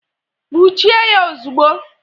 Nwuchie ya ozugbo!